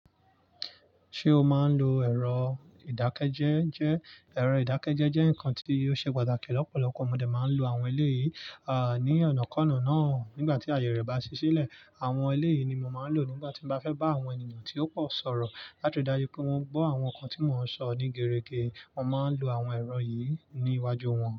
Ṣé o máa ń lo ẹ̀rọ ìdákẹ́jẹ́ je?, ẹ̀rọ ìdákẹ́jẹ́ jẹ́ nǹkan tí ó ṣe pàtàkì, lọ́pọ̀lọpọ̀ mọ dé máa ń lo àwọn eléyìí, à, ní ọ̀nà kọ́ọ̀kan náà nígbà tí àyè rẹ̀ bá ṣí sílẹ̀. Àwọn eléyìí ni mo máa ń lò nígbà tí mo bá fẹ́ bá àwọn ènìyàn tí ó pọ̀ sọ̀rọ̀ láti ri dáju pe won gbọ́ àwọn nnkan tí mò ń sọ ní gẹgerẹgẹ, mo máa ń lo àwọn ẹ̀rọ yìí ní iwájú wọn.